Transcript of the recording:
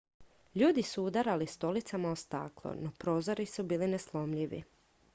ljudi su udarali stolicama o staklo no prozori su bili neslomljivi